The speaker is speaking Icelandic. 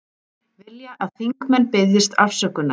Vilja að þingmenn biðjist afsökunar